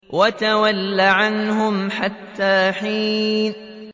وَتَوَلَّ عَنْهُمْ حَتَّىٰ حِينٍ